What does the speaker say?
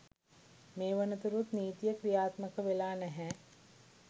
මේ වනතුරුත් නීතිය ක්‍රියාත්මක වෙලා නැහැ.